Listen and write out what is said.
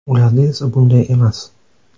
Ularda esa bunday emas.